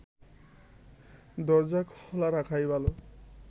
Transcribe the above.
দরজা খোলা রাখাই ভালো